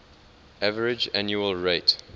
average annual rate